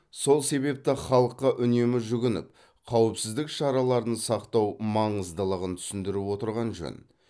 сол себепті халыққа үнемі жүгініп қауіпсіздік шараларын сақтау маңыздығын түсіндіріп отырған жөн